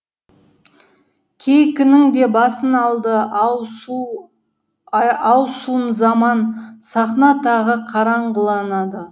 кейкінің де басын алды ау сұм заман сахна тағы қараңғыланады